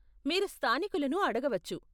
మీరు స్థానికులను అడగవచ్చు.